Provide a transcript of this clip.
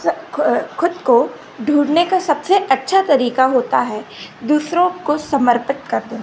ख ह खुद को ढूंढने का सबसे अच्छा तरीका होता है दूसरों को समर्पित कर देना।